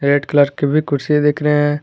Red colour की भी कुर्सी दिख रहे हैं।